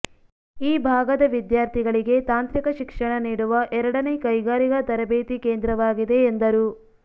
ಈ ಭಾಗದ ವಿದ್ಯಾರ್ಥಿಗಳಿಗೆ ತಾಂತ್ರಿಕ ಶಿಕ್ಷಣ ನೀಡುವ ಎರಡನೇ ಕೈಗಾರಿಗಾ ತರಬೇತಿ ಕೇಂದ್ರವಾಗಿದೆ ಎಂದರು